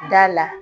Da la